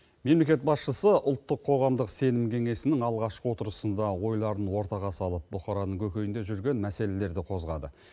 мемлекет басшысы ұлттық қоғамдық сенім кеңесінің алғашқы отырысында ойларын ортаға салып бұқараның көкейінде жүрген мәселелерді қозғады